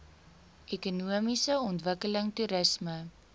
ekonomiese ontwikkeling toerisme